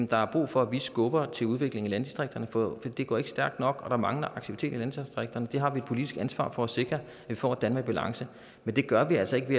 der er brug for at vi skubber til udviklingen i landdistrikterne for det går ikke stærkt nok og der mangler aktivitet i landdistrikterne vi har et politisk ansvar for at sikre at vi får et danmark i balance men det gør vi altså ikke